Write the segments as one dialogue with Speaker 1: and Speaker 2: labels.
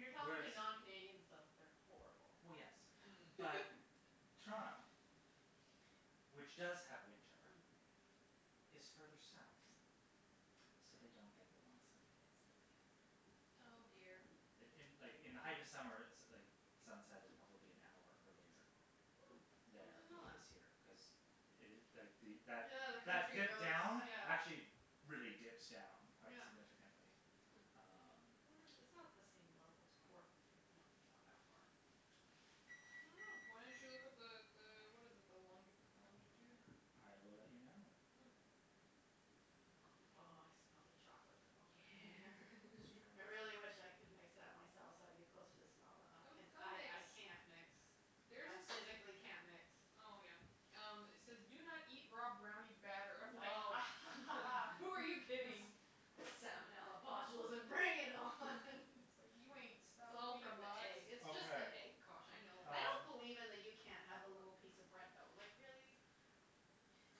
Speaker 1: When you're talking
Speaker 2: whereas
Speaker 1: to non Canadians, though, they're horrible.
Speaker 2: Well, yes,
Speaker 3: Mm.
Speaker 2: but Toronto, which does have winter,
Speaker 1: Mm.
Speaker 2: is further south, so they don't get the long summer days that we have.
Speaker 4: Oh, dear.
Speaker 2: In
Speaker 1: Wow.
Speaker 2: in like, in the height of summer, so like the sunset is probably an hour earlier
Speaker 1: Hm, I
Speaker 2: there
Speaker 1: didn't
Speaker 2: than
Speaker 1: know
Speaker 2: it
Speaker 1: that.
Speaker 2: is here.
Speaker 3: Hm.
Speaker 2: Cuz
Speaker 1: Yeah, the country goes,
Speaker 2: down,
Speaker 1: yeah.
Speaker 2: actually really dips down quite
Speaker 1: Yeah.
Speaker 2: significantly, um.
Speaker 1: I
Speaker 3: Hm.
Speaker 1: wonder if it, it's not the same level as Portland. Like it not
Speaker 4: I don't know. Why don't you look up the the, what is it, the long- the longitude?
Speaker 2: I will let you know.
Speaker 1: Hm. Oh, I smell the chocolate from over
Speaker 4: Yeah,
Speaker 1: here.
Speaker 4: just trying to make
Speaker 1: I
Speaker 4: sure.
Speaker 1: really wish I could mix that myself so I'd be closer to smell that.
Speaker 4: Come, come
Speaker 1: I
Speaker 4: mix.
Speaker 1: I can't mix.
Speaker 4: There's
Speaker 1: I
Speaker 4: this.
Speaker 1: physically can't mix.
Speaker 4: Oh, yeah. Um, it says do not eat raw brownie batter. I'm like a
Speaker 1: Oh.
Speaker 4: ha ha ha, who are you kidding?
Speaker 1: Salmonella, botulism, bring it on
Speaker 4: It's like, you ain't
Speaker 1: It's
Speaker 4: stopping
Speaker 1: all
Speaker 4: me,
Speaker 1: from the
Speaker 4: box.
Speaker 1: egg. It's just the
Speaker 2: Okay.
Speaker 1: egg caution.
Speaker 4: I know.
Speaker 1: I don't
Speaker 2: Um
Speaker 1: believe in the you can't have a little piece of bread dough. Like, really?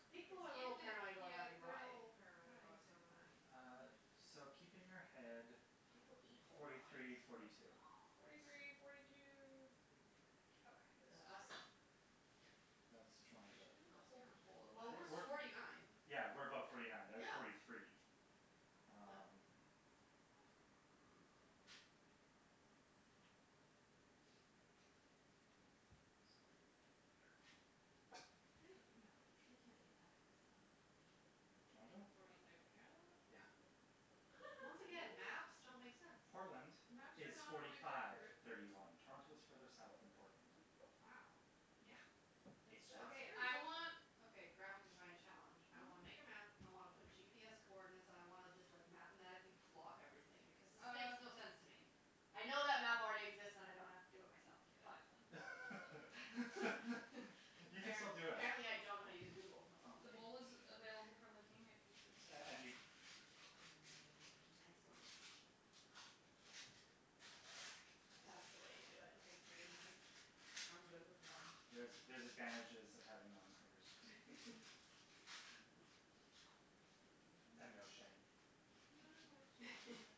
Speaker 1: People are a
Speaker 4: If
Speaker 1: little
Speaker 4: they,
Speaker 1: paranoid about
Speaker 4: yeah,
Speaker 1: having raw
Speaker 4: they're a
Speaker 1: egg.
Speaker 4: little paranoid
Speaker 3: Raw
Speaker 4: about
Speaker 3: eggs are
Speaker 4: salmonella.
Speaker 3: fine.
Speaker 2: Uh, so keep in your head
Speaker 1: People eat whole
Speaker 2: forty
Speaker 1: raw
Speaker 2: three,
Speaker 1: eggs.
Speaker 2: forty two.
Speaker 4: Forty three, forty two.
Speaker 1: Forty two.
Speaker 4: Okay,
Speaker 1: Is
Speaker 4: this is
Speaker 1: that us?
Speaker 4: ready for it.
Speaker 2: That's
Speaker 1: Oh,
Speaker 4: Would you be
Speaker 2: Toronto.
Speaker 4: able to
Speaker 1: it's
Speaker 4: hold the bowl
Speaker 1: Toronto. Well, we're forty nine.
Speaker 2: Yeah, we're above forty nine. They're at forty
Speaker 1: Yeah.
Speaker 2: three.
Speaker 1: No.
Speaker 2: Um.
Speaker 1: Hm.
Speaker 4: This is quite a thick batter.
Speaker 3: They, no, they can't be that far south.
Speaker 2: Toronto?
Speaker 3: Forty third parallel?
Speaker 2: Yeah.
Speaker 1: Once again, maps don't
Speaker 3: Really?
Speaker 1: make sense.
Speaker 2: Portland
Speaker 4: Maps are
Speaker 2: is
Speaker 4: not
Speaker 2: forty
Speaker 4: always
Speaker 2: five,
Speaker 4: accurate.
Speaker 2: thirty one. Toronto is further south than Portland.
Speaker 3: Wow.
Speaker 2: Yeah.
Speaker 3: That's
Speaker 4: That's
Speaker 2: It's south.
Speaker 1: Okay.
Speaker 3: fascinating.
Speaker 1: I
Speaker 4: that's
Speaker 1: want, okay, graphic design challenge. I
Speaker 4: Mhm.
Speaker 1: wanna make a map, I wanna put GPS coordinates and I wanna just, like, mathematically plot everything because this makes
Speaker 4: Uh.
Speaker 1: no sense to me. I know that map already exists and I don't have to do it
Speaker 4: Get out
Speaker 1: for
Speaker 4: then.
Speaker 1: myself, but
Speaker 2: You can
Speaker 1: App-
Speaker 2: still do it.
Speaker 1: apparently I don't know how to use Google, that's all I'm
Speaker 4: The
Speaker 1: saying.
Speaker 4: bowl is available for licking if you should.
Speaker 2: And and you
Speaker 1: Mm, excellent. That's the way you do it.
Speaker 3: Nice, the
Speaker 1: Mhm.
Speaker 3: big
Speaker 1: I'm good with one.
Speaker 2: There's, there's advantages of having long fingers. And no shame.
Speaker 4: I've no
Speaker 1: Mhm.
Speaker 4: shame.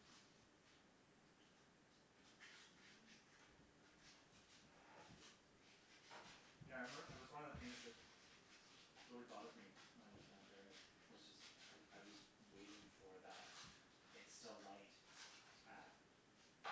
Speaker 1: Mhm.
Speaker 2: Yeah, I remember, it was one of the things that really bothered me when I lived in Ontario was just I I was waiting for that it's still light at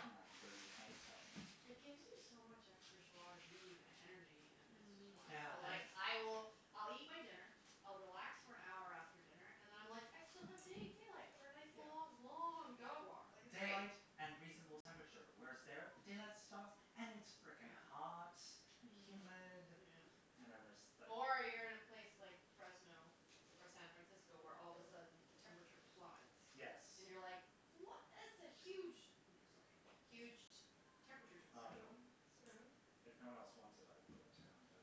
Speaker 2: nine thirty at night thing.
Speaker 1: It gives you so much extra jois de vivre and energy and it's just
Speaker 2: Yeah,
Speaker 4: Mm.
Speaker 1: wonderful.
Speaker 2: I
Speaker 1: Like, I will, I'll eat my dinner, I'll relax for an hour after dinner and then I'm like, I still have da- daylight for a nice
Speaker 2: Yeah.
Speaker 1: long, long dog walk, like, it's
Speaker 2: Daylight
Speaker 1: night.
Speaker 2: and reasonable temperature. Whereas there, the daylight stops and it's frickin'
Speaker 1: Yeah.
Speaker 2: hot and humid
Speaker 3: Mm.
Speaker 4: Yeah.
Speaker 2: and then there's, like.
Speaker 1: Or you're in a place like Fresno or San Francisco, where all of a sudden the temperature plummets.
Speaker 2: Yes.
Speaker 1: And you're, like, what is the huge No, it's okay. Huge t- temperature
Speaker 2: Um,
Speaker 1: differential.
Speaker 4: Spoon, spoon?
Speaker 2: if no one else wants it, I will go to town, but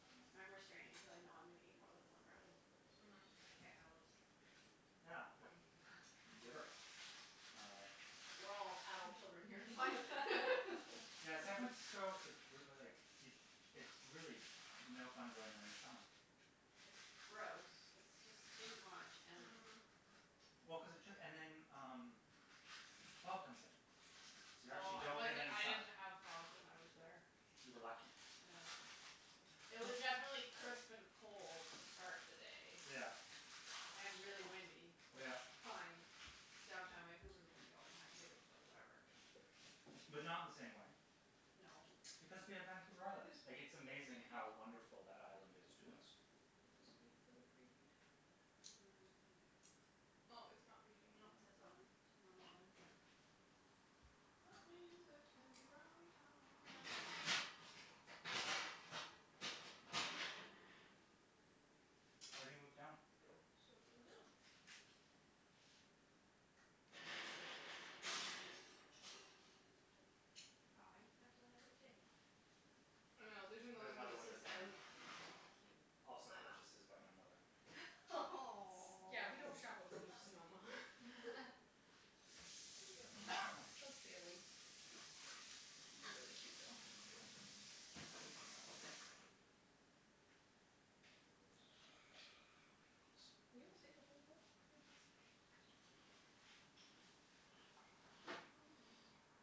Speaker 2: um
Speaker 1: I'm restraining cuz I know I'm gonna eat more than one brownie.
Speaker 4: Mhm.
Speaker 3: Okay, I will just lick the
Speaker 2: Yeah,
Speaker 3: spoon.
Speaker 2: good. Giver. Uh.
Speaker 1: We're all adult children here, like
Speaker 2: Yeah, San Francisco is like, it it's really no fun going there in the summer.
Speaker 1: It's gross. It's just too much, and
Speaker 4: Mm.
Speaker 2: Well, cuz it took, and then, um, the fog comes in, so you actually
Speaker 1: Oh, it
Speaker 2: don't get
Speaker 1: wasn't,
Speaker 2: any
Speaker 1: it
Speaker 2: sun.
Speaker 1: didn't have fog when I was there.
Speaker 2: You were lucky.
Speaker 1: Yeah. It was definitely crisp and cold to start the day.
Speaker 2: Yeah.
Speaker 1: And really windy, which
Speaker 2: Yeah.
Speaker 1: fine. Downtown Vancouver is windy all the time, too, so whatever.
Speaker 2: But not in the same way.
Speaker 1: No.
Speaker 2: Because we have Vancouver
Speaker 4: Do
Speaker 2: Island.
Speaker 4: these
Speaker 2: Like,
Speaker 4: beep
Speaker 2: it's
Speaker 4: for the
Speaker 2: amazing
Speaker 4: preheat?
Speaker 2: how wonderful that island is to
Speaker 1: Hm?
Speaker 2: us.
Speaker 4: Do these beep for the preheat?
Speaker 1: Mm.
Speaker 4: Oh, it's not preheating
Speaker 1: No, it
Speaker 4: anymore,
Speaker 1: says oven,
Speaker 4: okay.
Speaker 1: normal oven.
Speaker 4: That means it can be brownie
Speaker 1: Brownie time.
Speaker 4: time.
Speaker 2: I already moved it down.
Speaker 4: So it's in the middle.
Speaker 3: Aw, your spatula has a J on it.
Speaker 4: I know, there's
Speaker 2: There's
Speaker 4: another one
Speaker 2: another
Speaker 4: that
Speaker 2: one
Speaker 4: says
Speaker 2: with an M.
Speaker 4: M.
Speaker 3: Cute.
Speaker 2: Also purchases by my mother.
Speaker 4: S- yeah, we don't shop at Williams Sonoma. Just daily. They're really cute, though. Ah, Bugles. We almost ate the whole bowl. Pretty impressive.
Speaker 1: Mm.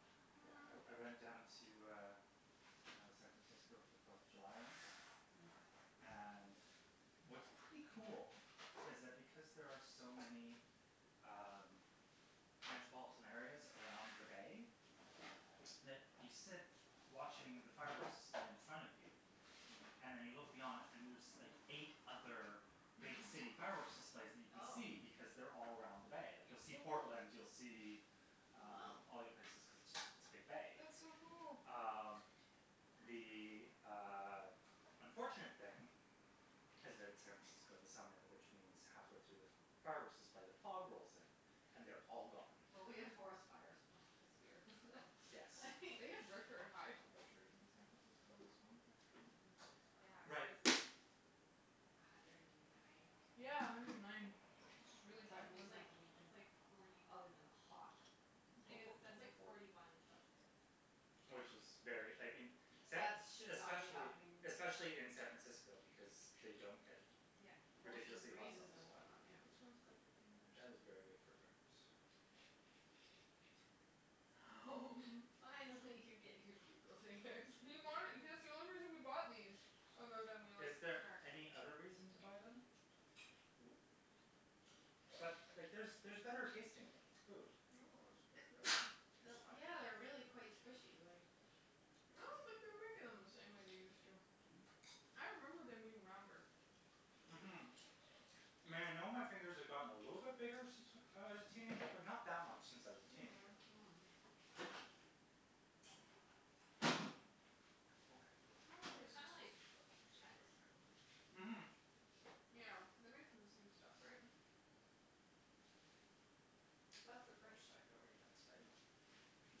Speaker 2: Yeah, I I went down to, uh, San Francisco for the Fourth of July once.
Speaker 1: Mm.
Speaker 2: And what's pretty cool is that because there are so many um metropolitan areas around the bay, that you sit watching the fireworks display in front of you And
Speaker 1: Mm.
Speaker 2: then you look beyond and there's like eight other big city fireworks displays that you can
Speaker 1: Oh.
Speaker 2: see because they're all around the bay. Like, you'll see Portland, you'll see um
Speaker 1: Wow.
Speaker 2: all the other places cuz it's just it's a big bay.
Speaker 4: That's so cool.
Speaker 2: Uh,
Speaker 1: That's
Speaker 2: the,
Speaker 1: cool.
Speaker 2: uh, unfortunate thing is that it's San Francisco in the summer, which means halfway through the fireworks display, the fog rolls in and they're all gone.
Speaker 1: Well, we have forest fires month this year, so
Speaker 2: Yes.
Speaker 4: They have record high temperatures in San Francisco this month, actually.
Speaker 1: Mm.
Speaker 3: Yeah, it
Speaker 2: Right.
Speaker 3: was like a hundred and nine or something,
Speaker 4: Yeah, a
Speaker 3: like,
Speaker 4: hundred and nine,
Speaker 3: Fahrenheit.
Speaker 4: which is really high
Speaker 1: That
Speaker 3: Which
Speaker 2: Yeah.
Speaker 4: for.
Speaker 1: means
Speaker 3: is like,
Speaker 1: nothing to
Speaker 3: it's
Speaker 1: me.
Speaker 3: like forty
Speaker 1: Other than hot
Speaker 3: Tha- that's like
Speaker 4: forty.
Speaker 3: forty one Celsius.
Speaker 2: Which is very, I mean, San
Speaker 1: That is should not be
Speaker 2: Especially,
Speaker 1: happening.
Speaker 2: especially in San Francisco because they don't get
Speaker 3: Yeah.
Speaker 1: Ocean
Speaker 2: ridiculously hot
Speaker 1: breezes
Speaker 2: summers.
Speaker 1: and whatnot, yeah.
Speaker 4: This one's good for fingers.
Speaker 2: That is very good for fingers.
Speaker 3: Fine, I'll let you get your Bugle fingers.
Speaker 4: He wanted. That's the only reason we bought these, other than we
Speaker 2: Is
Speaker 4: like snacks.
Speaker 2: there any other reason to buy them? But, like, there's there's better tasting food.
Speaker 4: No, it's really good.
Speaker 1: Yeah, they're really quite squishy, like
Speaker 4: I don't think they're making them the same way they used to. I remember them being rounder.
Speaker 1: Mhm.
Speaker 2: Mhm. I know my fingers have gotten a little bit bigger since I was a teenager, but not that much since I was a teenager.
Speaker 3: Mm.
Speaker 1: Mm.
Speaker 4: Okay, how
Speaker 3: Mm,
Speaker 4: long
Speaker 3: they
Speaker 4: are
Speaker 3: are
Speaker 4: these
Speaker 3: kinda like
Speaker 4: supposed to cook? I should put a timer on.
Speaker 2: Mhm.
Speaker 4: Yeah, they're made from the same stuff, right? That's the French side, don't read that side.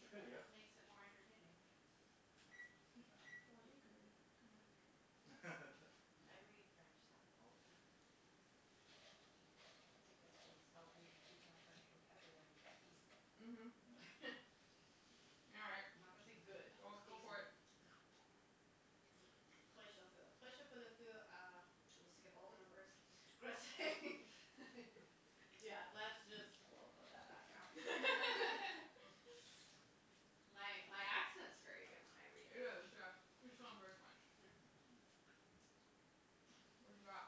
Speaker 1: It just makes it more entertaining.
Speaker 4: Well, you can read it or Matthew can read it.
Speaker 1: I read French sides all the time. I think that's what's helped me keep my French vocabulary decent.
Speaker 4: Mhm. All right,
Speaker 1: I'm not gonna say good,
Speaker 4: well,
Speaker 1: but
Speaker 4: go for
Speaker 1: decent.
Speaker 4: it.
Speaker 1: We'll just skip all the numbers. Yeah, that's just, woah, put that back now. My my accent's very good when I read
Speaker 4: It is,
Speaker 1: French.
Speaker 4: yes, you sound very French.
Speaker 1: Yeah.
Speaker 2: Mhm.
Speaker 4: What have you got?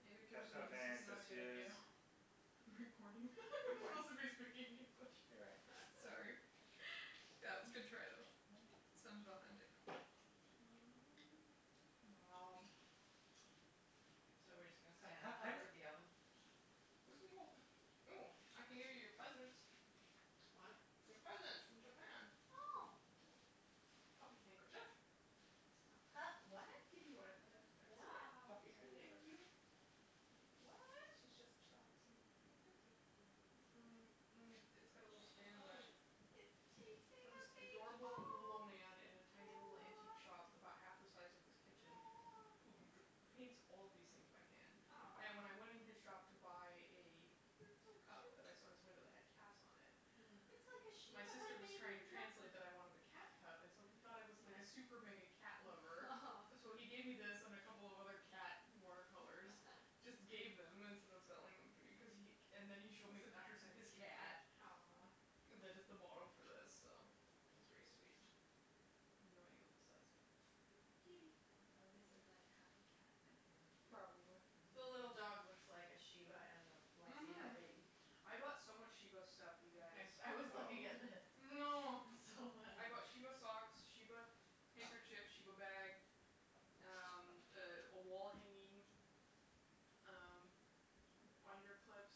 Speaker 4: It occurs to me this is not a good idea. For the recording. We're supposed to be speaking English.
Speaker 2: You're right.
Speaker 4: S- sorry That was a good try, though.
Speaker 2: Yeah.
Speaker 4: Sounded authentic. Wow.
Speaker 1: So, we're just gonna and hover at the oven?
Speaker 4: We can go. Oh, I can give you your presents.
Speaker 1: What?
Speaker 4: Your presents from Japan.
Speaker 1: Oh.
Speaker 4: Puppy handkerchief.
Speaker 1: A pup what?
Speaker 4: A kitty one I
Speaker 2: It's a
Speaker 1: What?
Speaker 3: Aw,
Speaker 2: puppy
Speaker 3: cute.
Speaker 2: handkerchief.
Speaker 4: cute?
Speaker 1: What?
Speaker 4: She's just chillaxing.
Speaker 3: He's so cute sitting like
Speaker 4: Mhm.
Speaker 3: that.
Speaker 4: Mm. It's got a little
Speaker 3: Oh,
Speaker 4: stand in the back.
Speaker 3: it is.
Speaker 1: It's chasing a
Speaker 4: This
Speaker 1: big ball,
Speaker 4: adorable little old
Speaker 1: oh.
Speaker 4: man in a tiny little antique shop about half the size of this kitchen who dr- paints all these things by hand. And when
Speaker 3: Aw.
Speaker 4: I went in his shop to buy a
Speaker 1: You're so
Speaker 4: cup that I saw in his
Speaker 1: cute.
Speaker 4: window that had cats on it.
Speaker 3: Mhm.
Speaker 1: It's like a
Speaker 4: My
Speaker 1: shiba had
Speaker 4: sister
Speaker 1: a
Speaker 4: was
Speaker 1: baby
Speaker 4: trying to
Speaker 1: with Lexie.
Speaker 4: translate that I wanted the cat cup and so he thought I was like a super mega
Speaker 3: Yeah.
Speaker 4: cat lover. So he gave me this and a couple of other cat water colors, just gave them instead of selling them to be cuz he. And then he showed me the
Speaker 1: This back
Speaker 4: pictures of
Speaker 1: side's
Speaker 4: his
Speaker 1: cute, too.
Speaker 4: cat.
Speaker 3: Aw.
Speaker 4: That is the model for this, so it was very sweet. I have no idea what this says, but
Speaker 1: It's
Speaker 4: it's
Speaker 1: a
Speaker 4: kitty
Speaker 1: kitty.
Speaker 3: It probably says, like, happy cat napping. Or
Speaker 4: Probably.
Speaker 1: The
Speaker 3: something.
Speaker 1: little dog
Speaker 2: Mhm.
Speaker 1: looks like a shiba and a Lexie had a
Speaker 4: Mhm.
Speaker 1: baby.
Speaker 4: I bought so much shiba stuff, you guys.
Speaker 1: I I was
Speaker 2: Oh.
Speaker 1: looking at this.
Speaker 4: Oh no.
Speaker 1: It's so funny.
Speaker 4: I bought shiba socks, shiba handkerchiefs, shiba bag, um, a wall hanging, um, binder clips.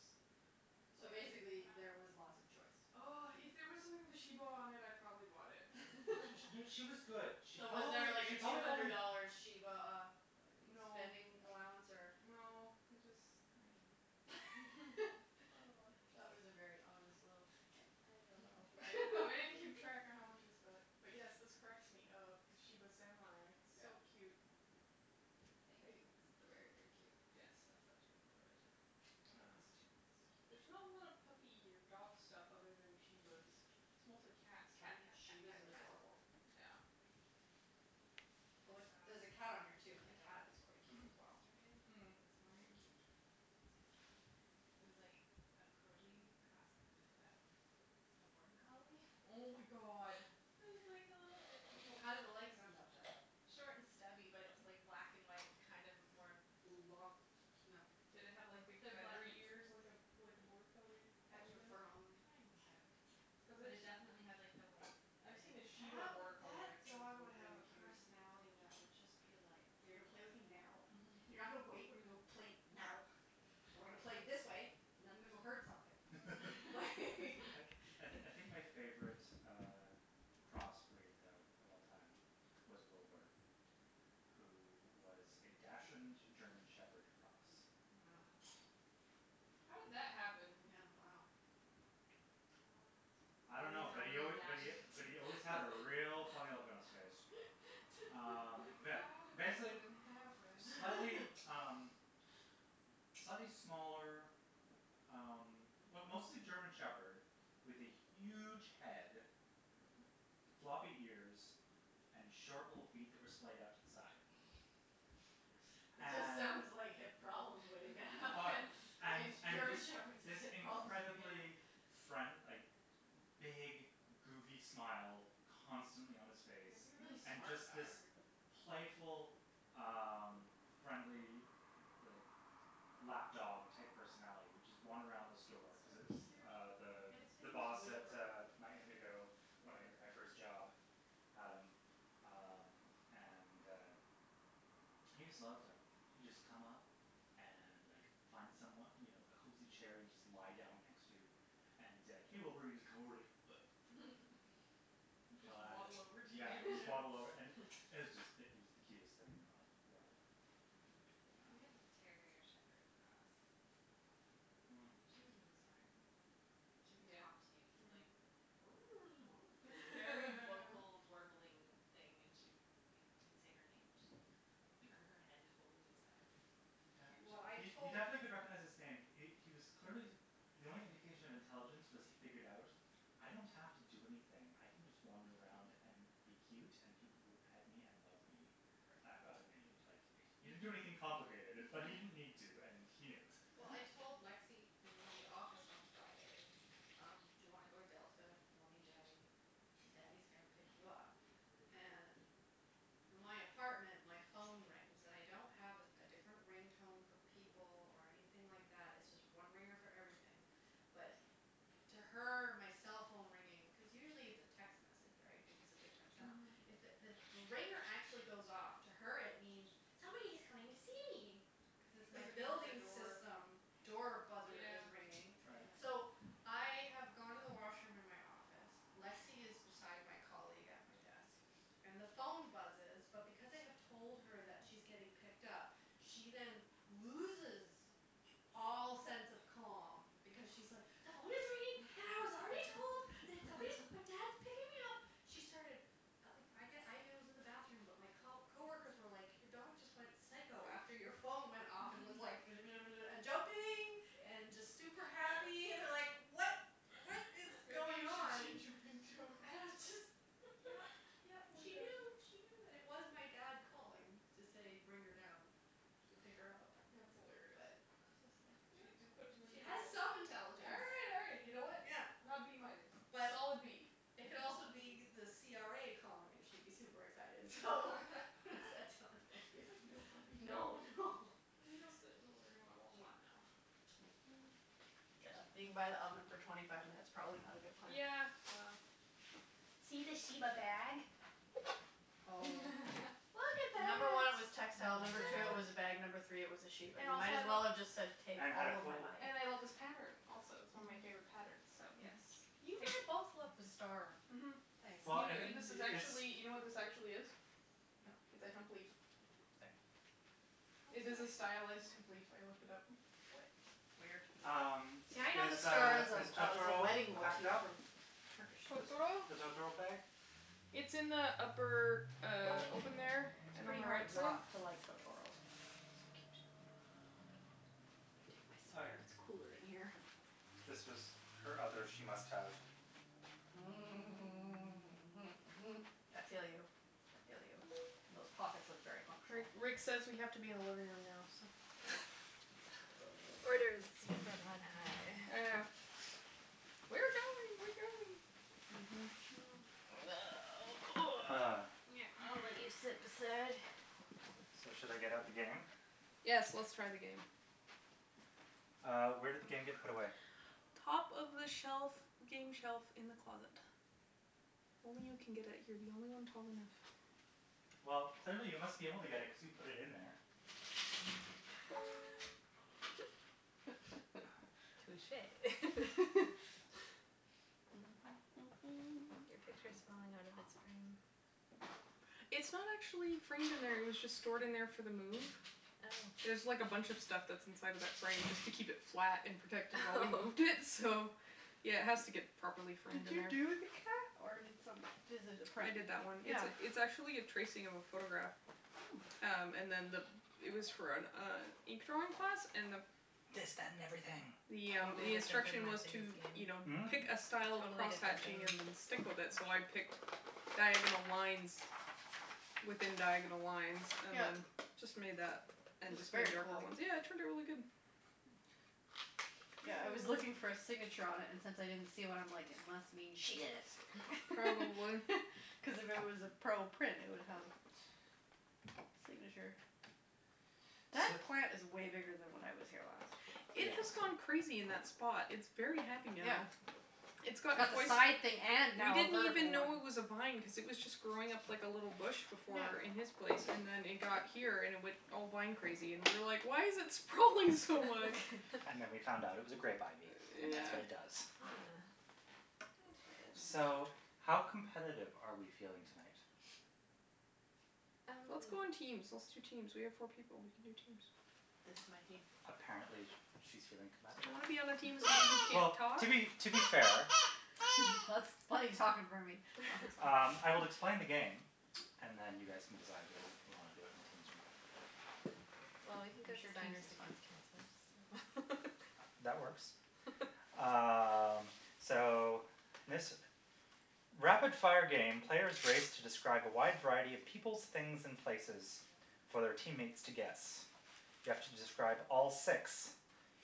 Speaker 1: So basically there was
Speaker 3: Wow.
Speaker 1: lots of choice.
Speaker 4: Oh, if there was something with a shiba on it, I probably bought it.
Speaker 2: She was good. She
Speaker 1: So, was
Speaker 2: probably,
Speaker 1: there, like, a
Speaker 2: she
Speaker 1: two
Speaker 2: probably
Speaker 1: hundred
Speaker 2: only
Speaker 1: dollar shiba uh
Speaker 4: No,
Speaker 1: spending allowance or?
Speaker 4: no, it just, I don't know. It's got a lotta pics.
Speaker 1: That was a very honest little, I I don't
Speaker 4: I I
Speaker 1: know.
Speaker 4: didn't keep track of how much I spent. But, yes, this cracks me up, the shiba samurai,
Speaker 1: Yeah. No.
Speaker 4: so cute.
Speaker 1: Thank you. This is very, very cute.
Speaker 4: Yes, I thought you would enjoy it.
Speaker 1: I
Speaker 2: Uh.
Speaker 1: like this, too. This is
Speaker 4: There's not
Speaker 1: cute.
Speaker 4: a lot of puppy or dog stuff other than shibas. It's mostly cats. Cat, cat, cat, cat,
Speaker 1: shibas are
Speaker 4: cat.
Speaker 1: adorable.
Speaker 4: Yeah.
Speaker 1: Like,
Speaker 3: I
Speaker 1: there's a cat on here,
Speaker 3: saw
Speaker 1: too, and the cat
Speaker 3: a
Speaker 1: is quite cute
Speaker 2: Mhm.
Speaker 1: as
Speaker 3: dog
Speaker 1: well.
Speaker 3: yesterday. Or
Speaker 4: Mm.
Speaker 3: this
Speaker 1: Very
Speaker 3: morning.
Speaker 1: cute.
Speaker 3: Maybe it was yesterday. It was like a corgi crossed with a border collie.
Speaker 4: Oh, my god.
Speaker 3: It was like a little
Speaker 1: How did the legs end up, then?
Speaker 3: Short and stubby, but it was like black and white kind of a more
Speaker 1: Long, no.
Speaker 4: Did it have, like, big feathery ears like a like a border collie collie
Speaker 1: Extra
Speaker 4: does?
Speaker 1: fur on them.
Speaker 3: Kind of,
Speaker 4: Cuz
Speaker 3: but
Speaker 4: I've
Speaker 3: it definitely had
Speaker 4: s-
Speaker 3: like the white
Speaker 4: I've seen
Speaker 3: in
Speaker 4: a
Speaker 3: it and
Speaker 4: shiba
Speaker 1: That
Speaker 4: border
Speaker 1: wou-
Speaker 4: collie
Speaker 1: that
Speaker 4: mix and it's
Speaker 1: dog would have
Speaker 4: really
Speaker 1: a
Speaker 4: cute.
Speaker 1: personality that would just be like, "You're gonna play with me now, you're not gonna wait, we're gonna play now and we're gonna play
Speaker 4: That's
Speaker 1: this way
Speaker 4: true.
Speaker 1: and I'm gonna go herd something, like"
Speaker 2: I I I think my favorite uh crossbreed though of all time was Wilbur, who was a dachshund German shepherd cross.
Speaker 3: Oh my
Speaker 1: Wow.
Speaker 3: gosh.
Speaker 4: How did that happen?
Speaker 1: Yeah, wow.
Speaker 2: I don't
Speaker 3: A
Speaker 2: know, but
Speaker 3: real
Speaker 2: he al-
Speaker 3: dine
Speaker 2: but he
Speaker 3: and
Speaker 2: but
Speaker 3: dash.
Speaker 2: he always had a real funny look on his face. Um,
Speaker 4: Like,
Speaker 2: yeah,
Speaker 4: how did that
Speaker 2: basic-
Speaker 4: even , happen?
Speaker 2: slightly, um, slightly smaller um well mostly German Shepherd with a huge head, floppy ears and short little feet that were splayed out to the side.
Speaker 1: It just
Speaker 2: And
Speaker 1: sounds like hip problems way
Speaker 2: Oh,
Speaker 1: down.
Speaker 2: and and
Speaker 1: German
Speaker 2: this
Speaker 1: Shepherds have
Speaker 2: this
Speaker 1: hip problems at the beginning.
Speaker 2: incredible friend- like, big goofy smile constantly on his
Speaker 1: It
Speaker 2: face.
Speaker 1: would be a really
Speaker 2: And
Speaker 1: smart
Speaker 2: just
Speaker 1: dog.
Speaker 2: this playful um friendly, like, lap dog type personality that would just wander around the
Speaker 4: That's so
Speaker 2: store cuz it was
Speaker 4: cute.
Speaker 2: uh
Speaker 3: Mm.
Speaker 2: the
Speaker 1: And its
Speaker 2: the
Speaker 1: name was
Speaker 2: boss at
Speaker 1: Wilbur.
Speaker 2: my Indigo. At
Speaker 1: Whatever.
Speaker 2: my first job had him um and uh he just loved like he'd just come up and like find someone, you know, a cozy chair he'd just lie down next to and he's like, hey Wilbur, and he's just come over and like
Speaker 4: He'd just waddle over to you,
Speaker 2: Yeah, just waddle over.
Speaker 4: yeah.
Speaker 2: It was just it was the cutest thing in the world.
Speaker 3: We had a
Speaker 2: Um.
Speaker 1: Mm.
Speaker 3: terrier shepherd cross for a while.
Speaker 2: Mm.
Speaker 3: She was really smart. She would
Speaker 4: Yeah.
Speaker 3: talk to you. She'd be
Speaker 4: Mhm.
Speaker 3: like Like, very vocal warbling thing and she'd, yeah. You'd say her name and she'd like turn her head totally sideways.
Speaker 1: He- well, I
Speaker 2: He he
Speaker 1: tot-
Speaker 2: definitely
Speaker 4: Cute.
Speaker 2: could recognize his name. He he was clearly the only indication of intelligence was he figured out, "I don't have to do anything." I can just wander around and be cute and people will pet me and love me.
Speaker 3: Perfect.
Speaker 2: I've got it made. Like,
Speaker 4: Perfect.
Speaker 2: he didn't do anything complicated, but he didn't need to, and he knew it.
Speaker 1: Well, I told Lexie in the office on Friday, um, do you want to go to Delta, mommy and daddy? Daddy's gonna pick you up. And from my apartment, my phone rings. And I don't have a a different ring tone for people or anything like that, it's just one ringer for everything, but to her my cell phone ringing. Cuz usually it's a text message, right, which is a different sound.
Speaker 4: Mhm.
Speaker 1: It's if the ringer actually goes off, to her it means, "Somebody's coming to see me", cuz it's my
Speaker 4: Cuz it means the
Speaker 1: building
Speaker 4: door.
Speaker 1: system door buzzer
Speaker 4: Yeah.
Speaker 1: is ringing.
Speaker 2: Right.
Speaker 1: So,
Speaker 3: Right.
Speaker 1: I have gone to the washroom in my office, Lexie is beside my colleague at my desk and the phone buzzes, but because I have told her that she's getting picked up, she then loses all sense of calm because she's, like, "The phone is ringing and I was already told that somebody, that dad's picking me up. She started. At like, I, again, was in the bathroom, but my co- coworkers were like your dog just went psycho after your phone went off and was like and jumping and just super happy and they're like what, what is
Speaker 4: Maybe
Speaker 1: going
Speaker 4: you should
Speaker 1: on?
Speaker 4: change your
Speaker 1: And it
Speaker 4: ringtone.
Speaker 1: was just, yeah, yeah,
Speaker 4: Poor
Speaker 1: she
Speaker 4: doggy.
Speaker 1: knew, she knew. And it was my dad calling to say bring her down to pick her up,
Speaker 4: That's hilarious.
Speaker 1: but it's just like, yeah,
Speaker 4: She just put two and two
Speaker 1: she has
Speaker 4: together.
Speaker 1: some intelligence.
Speaker 4: Hey, you know, you know what,
Speaker 1: Yeah.
Speaker 4: not B minus.
Speaker 1: But
Speaker 4: Solid B.
Speaker 1: it could also be the CRA calling and she'd be super excited, so what does that tell you?
Speaker 4: Cuz like no puppy
Speaker 1: No, no.
Speaker 4: Can we go sit in the living room? I'm all hot now.
Speaker 1: Yeah, being by the oven for twenty five minutes, probably not a good plan.
Speaker 4: Yeah, well. See the shiba bag?
Speaker 1: Oh.
Speaker 4: Look at
Speaker 1: Number one, it was
Speaker 4: that.
Speaker 1: textile;
Speaker 3: Oh,
Speaker 1: number two it
Speaker 3: my
Speaker 1: was a
Speaker 3: god.
Speaker 1: bag;
Speaker 4: Look.
Speaker 1: number three it was a sheep.
Speaker 4: And
Speaker 1: And it
Speaker 4: also
Speaker 1: might
Speaker 4: I
Speaker 1: as
Speaker 4: love
Speaker 1: well have just said take
Speaker 2: And had a
Speaker 1: all of my
Speaker 2: pull
Speaker 1: money.
Speaker 4: And I love this pattern also, it's
Speaker 2: Yeah.
Speaker 4: one of my
Speaker 1: Mhm.
Speaker 4: favorite patterns, so yes.
Speaker 1: Mhm. You had both loved the
Speaker 4: Take.
Speaker 1: star
Speaker 4: Mhm.
Speaker 1: things.
Speaker 2: Well,
Speaker 4: You
Speaker 2: and,
Speaker 4: kn- this is
Speaker 2: it's.
Speaker 4: actually, you know what this actually is? It's
Speaker 1: No.
Speaker 4: a hemp leaf.
Speaker 3: No. Oops, sorry.
Speaker 1: How
Speaker 4: It
Speaker 1: is it
Speaker 4: is
Speaker 1: a
Speaker 4: a
Speaker 1: h-
Speaker 4: stylus hemp leaf. I looked it up.
Speaker 1: We- weird.
Speaker 2: Um,
Speaker 1: See, I know the
Speaker 2: is,
Speaker 1: star
Speaker 2: uh,
Speaker 1: as a
Speaker 2: is
Speaker 1: as a
Speaker 2: Totoro
Speaker 1: wedding
Speaker 2: packed
Speaker 1: motif
Speaker 2: up?
Speaker 1: from Turkish.
Speaker 2: The
Speaker 4: Totoro?
Speaker 2: the Totoro bag?
Speaker 4: It's in the upper, uh, open there
Speaker 1: It's
Speaker 4: and on
Speaker 1: pretty
Speaker 4: the right
Speaker 1: hard
Speaker 4: side.
Speaker 1: not to like Totoro. It's so cute. I'm gonna take my
Speaker 2: Oh,
Speaker 1: sweater;
Speaker 2: yes.
Speaker 1: it's cool in here.
Speaker 2: This was her other she must have.
Speaker 1: Mm. Mhm. mhm, mhm. I feel you, I feel you. Those pockets look very
Speaker 4: Ri-
Speaker 1: functional.
Speaker 4: Rick says we have to be in the living room now, so.
Speaker 1: Okay.
Speaker 3: Orders from on high.
Speaker 4: I know. We're going, we're going.
Speaker 2: Ah.
Speaker 1: I'll let you sit beside.
Speaker 2: So, should I get out the game?
Speaker 4: Yes, let's try the game.
Speaker 2: Uh, where did the game get put away?
Speaker 4: Top of the shelf, game shelf in the closet. Only you can get it. You're the only one tall enough.
Speaker 2: Well, clearly you must be able to get it cuz you put it in there.
Speaker 3: Touche. Your picture is falling out of its frame.
Speaker 4: It's not actually framed in there. It was just stored in there for the move.
Speaker 3: Oh.
Speaker 4: There's like a bunch of stuff that's inside of that frame just to keep it flat and protected while we
Speaker 3: Oh
Speaker 4: moved in, so yeah, it has to get properly framed
Speaker 1: Did
Speaker 4: in
Speaker 1: you
Speaker 4: there.
Speaker 1: do the cat or did some- does it a
Speaker 4: I
Speaker 1: print?
Speaker 4: did that one. It's
Speaker 1: Yeah.
Speaker 4: it's actually a tracing of a photograph.
Speaker 1: Hmm.
Speaker 4: Um, and then the it was for an uh ink drawing class and the
Speaker 2: This, that and everything.
Speaker 4: Yeah,
Speaker 3: Totally
Speaker 4: the
Speaker 3: different than
Speaker 4: instruction was to,
Speaker 3: game.
Speaker 4: you know,
Speaker 2: Hmm?
Speaker 4: pick a style of
Speaker 3: Totally different than
Speaker 4: crosshatching and then stick with it, so I picked diagonal lines within diagonal lines and
Speaker 1: Yeah.
Speaker 4: then just made that and
Speaker 1: It's
Speaker 4: just made
Speaker 1: very
Speaker 4: darker
Speaker 1: cool.
Speaker 4: ones. Yeah, it turned out really good.
Speaker 1: Mm. Yeah, I was looking for a signature on it and since I didn't see one, I'm like, it must mean she did it
Speaker 4: Probably.
Speaker 1: cuz if it was a pro print, it would have a signature.
Speaker 2: So.
Speaker 1: That plant is way bigger than when I was here last.
Speaker 4: It
Speaker 2: Yes.
Speaker 4: has gone crazy in that spot. It's very happy
Speaker 1: Yeah.
Speaker 4: now. It's gotten
Speaker 1: Got the
Speaker 4: quite
Speaker 1: side thing and
Speaker 4: We
Speaker 1: now a
Speaker 4: didn't even
Speaker 1: vertical one.
Speaker 4: know it was a vine cuz it was just growing up like a little bush before in
Speaker 1: Yeah.
Speaker 4: his place and then it got here and it went all vine crazy and we were like, why is it sprawling so much?
Speaker 2: And then we found out it was a grape ivy and that's
Speaker 4: Yeah.
Speaker 2: what it does.
Speaker 1: Ah.
Speaker 3: Oh.
Speaker 2: So, how competitive are we feeling tonight?
Speaker 3: Um.
Speaker 4: Let's go in teams, let's do teams. We have four people; we can do teams.
Speaker 1: This is my team.
Speaker 2: A- apparently she's feeling
Speaker 4: You
Speaker 2: competitive.
Speaker 4: wanna be on the team with somebody who can't
Speaker 2: Well,
Speaker 4: talk?
Speaker 2: to be, to be fair
Speaker 1: That's talking for me. No, that's
Speaker 2: Um,
Speaker 1: fine.
Speaker 2: I will explain the game and then you guys can decide whether we want to do it in teams or not.
Speaker 3: Well, we can
Speaker 1: I'm
Speaker 3: go
Speaker 1: sure teams
Speaker 3: designers
Speaker 1: is fine.
Speaker 3: against counselors, so
Speaker 2: That works. Um, so this rapid-fire game, players race to describe a wide variety of peoples, things and places for their teammates to guess. You have to describe all six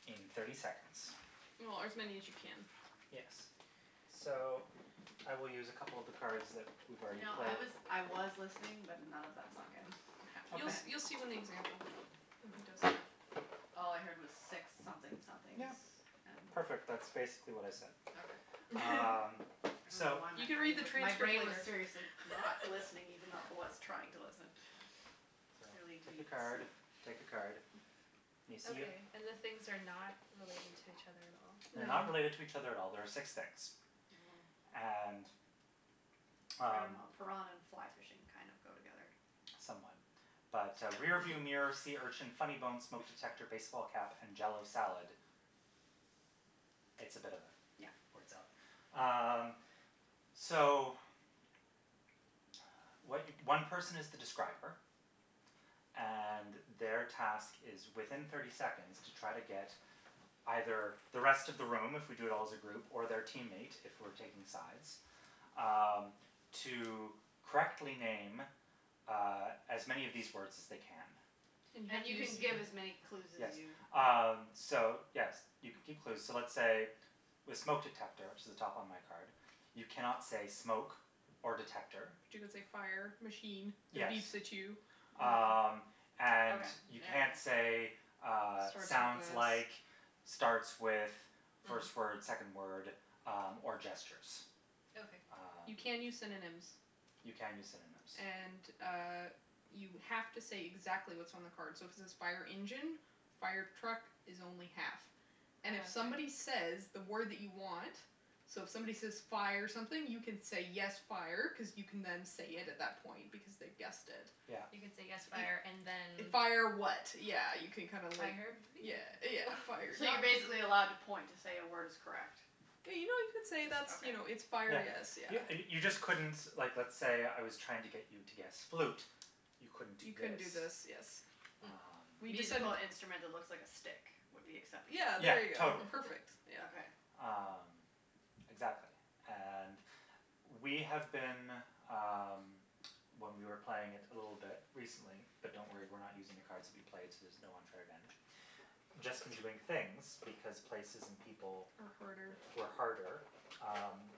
Speaker 2: in thirty seconds.
Speaker 4: Or as many as you can.
Speaker 2: Yes. So, I will use a couple of the cards that we've
Speaker 1: You
Speaker 2: already
Speaker 1: know, I
Speaker 2: played.
Speaker 1: was I was listening, but none of that sunk in, I have to
Speaker 4: You
Speaker 2: Okay.
Speaker 1: admit.
Speaker 4: you'll see when the example when he does that.
Speaker 1: All I heard was six something somethings
Speaker 2: Yeah,
Speaker 1: and.
Speaker 2: perfect, that's basically what I said.
Speaker 1: Okay.
Speaker 2: Um,
Speaker 1: I don't know
Speaker 2: so.
Speaker 1: why
Speaker 4: You
Speaker 1: my
Speaker 4: can read
Speaker 1: brain
Speaker 4: the
Speaker 1: was, my
Speaker 4: transcript
Speaker 1: brain was
Speaker 4: later.
Speaker 1: seriously not listening, even though I was trying to listen.
Speaker 2: So,
Speaker 1: Clearly
Speaker 2: take a
Speaker 1: need
Speaker 2: card,
Speaker 1: sleep.
Speaker 2: take a card. You see them?
Speaker 3: Okay, and the things are not related to each other at all?
Speaker 2: They're
Speaker 4: No.
Speaker 2: not related to each other at all; there are six things.
Speaker 1: Mhm.
Speaker 2: And,
Speaker 1: I don't
Speaker 2: um
Speaker 1: know, piranha and and fly fishing kind of go together.
Speaker 2: Somewhat. But, uh, rearview
Speaker 1: So.
Speaker 2: mirror, sea urchin, funny bone, smoke detector, baseball cap and jell-o salad, it's a bit of yeah
Speaker 1: Yeah.
Speaker 2: words up. Um, so what one person is the describer, and their task is within thirty seconds to try to get either the rest of the room if we do it all as a group or their teammate if we're taking sides Um, to correctly name uh as many of these words as they can.
Speaker 4: And you have
Speaker 1: And
Speaker 4: to
Speaker 1: you
Speaker 4: use
Speaker 1: can give as many clue
Speaker 2: Yes.
Speaker 1: as you
Speaker 2: Um, so yes, you can keep clues. So let's say with smoke detector, which is at the top on my card, you cannot say smoke or detector.
Speaker 4: But you could say fire, machine that
Speaker 2: Yes.
Speaker 4: beeps at you.
Speaker 1: Mm.
Speaker 2: Um, and
Speaker 1: Okay,
Speaker 2: you
Speaker 1: yeah
Speaker 2: can't say,
Speaker 1: yeah.
Speaker 2: uh,
Speaker 4: Starts with
Speaker 2: sounds like,
Speaker 4: this.
Speaker 2: starts with, first word,
Speaker 3: Hmm.
Speaker 2: second word, um, or gestures.
Speaker 3: Okay.
Speaker 2: Um.
Speaker 4: You can use synonyms.
Speaker 2: You can use synonyms.
Speaker 4: And, uh, you have to say exactly what's on the card, so if it says fire engine, fire truck is only half.
Speaker 3: Oh,
Speaker 4: And if
Speaker 3: okay.
Speaker 4: somebody says that word that you want, so if somebody says fire something, you can say yes, fire, cuz you can then say it at that point, because they've guessed it.
Speaker 2: Yeah.
Speaker 3: You can say yes
Speaker 4: You
Speaker 3: fire and then
Speaker 4: Fire,
Speaker 3: fire vehicle.
Speaker 4: what, yeah, you can kind of like yeah, yeah, fire.
Speaker 1: So you're basically
Speaker 2: Yeah.
Speaker 1: allowed to point to say a word is correct?
Speaker 4: Yeah, you know, you can say
Speaker 1: Just
Speaker 4: that's,
Speaker 1: okay.
Speaker 4: you know, it's fire,
Speaker 2: Yeah.
Speaker 4: yes, yeah.
Speaker 2: You you just couldn't, like let's say I was trying to get you to guess flute; you couldn't do
Speaker 4: You couldn't
Speaker 2: this.
Speaker 4: do this, yes.
Speaker 3: Hmm.
Speaker 4: We
Speaker 2: Um.
Speaker 4: decided
Speaker 1: Musical
Speaker 4: that
Speaker 1: instrument that looks like a stick would be acceptable?
Speaker 4: Yeah,
Speaker 2: Yeah,
Speaker 4: there you go.
Speaker 2: totally.
Speaker 4: Perfect, yeah.
Speaker 1: Okay.
Speaker 2: Um, exactly, and we have been, um, when we were playing it a little bit recently, but don't worry, we're not using the cards that we played, so there's no unfair advantage, just been doing things because places and people
Speaker 4: Are harder.
Speaker 2: were harder. Um,